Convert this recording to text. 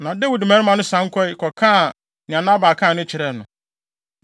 Na Dawid mmarima no san kɔe, kɔkaa de Nabal kae no kyerɛɛ no.